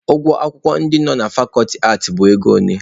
Ụgwọ akwụkwọ ndị nọ ná fakọlti aatị bụ ego ole?